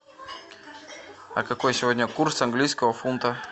а какой сегодня курс английского фунта